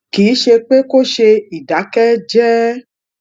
kì í ṣe pe ko se ìdákéjéé